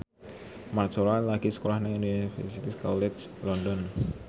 Mat Solar lagi sekolah nang Universitas College London